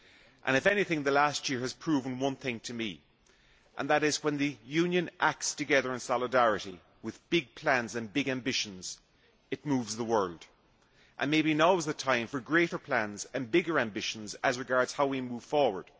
and, if anything, the last year has proven one thing to me, namely that when the Union acts together in solidarity with big plans and big ambitions, it moves the world. Maybe now is the time for greater plans and bigger ambitions as regards how we move forward.